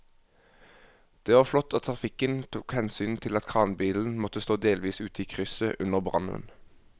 Det var flott at trafikken tok hensyn til at kranbilen måtte stå delvis ute i krysset under brannen.